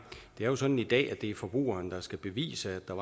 det er sådan i dag at det er forbrugeren der skal bevise at der